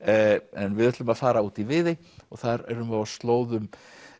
en við ætlum að fara út í Viðey og þar erum við á slóðum